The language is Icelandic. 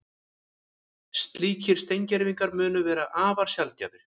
Slíkir steingervingar munu vera afar sjaldgæfir